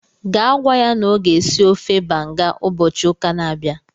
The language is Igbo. Gaa gwa ya na ọ ga-esi ofe banga ụbọchị ụka a na-abịa